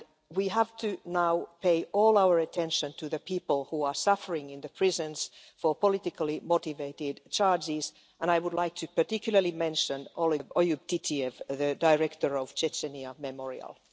We have to now pay all of our attention to the people who are suffering in the prisons for politically motivated charges, and I would like to particularly mention Oyub Titiev, the director of Memorial' in Chechnya.